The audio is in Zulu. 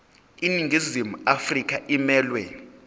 iningizimu afrika emelwe